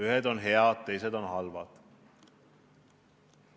Ühed on head, teised on halvad.